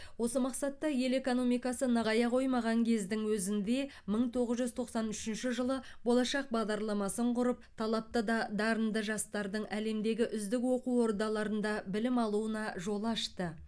осы мақсатта ел экономикасы нығая қоймаған кездің өзінде мың тоғыз жүз тоқсан үшінші жылы болашақ бағдарламасын құрып талапты да дарынды жастардың әлемдегі үздік оқу ордаларында білім алуына жол ашты